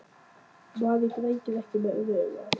Maður grætur ekki með öðru auganu.